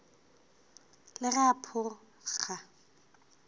le ge a pho ga